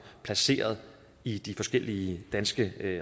placeret i de forskellige danske